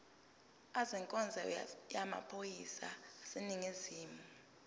ezenkonzo yamaphoyisa aseningizimu